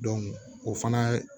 o fana